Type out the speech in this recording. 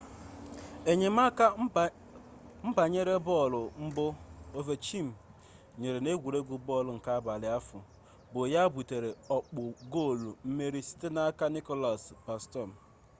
enyemaka mgbanyere bọọlụ mbụ ovechkin nyere n'egwuregwu bọọlụ nke abalị ahụ bụ ya butere ọkpụ goolu mmeri sitere n'aka nicklas backstrom